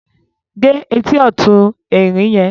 gé ẹtì ọ̀tún Erin yẹn